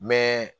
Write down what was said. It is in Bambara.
Mɛ